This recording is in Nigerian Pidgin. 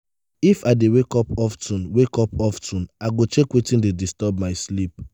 if i dey wake up of ten wake up of ten i go check wetin dey disturb my sleep.